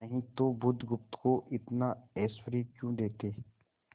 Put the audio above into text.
नहीं तो बुधगुप्त को इतना ऐश्वर्य क्यों देते